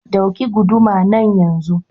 Ɗauki gudumar nan yanzu!